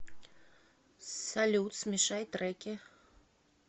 салют смешай треки